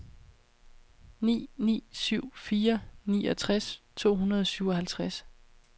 ni ni syv fire niogtres to hundrede og syvoghalvtreds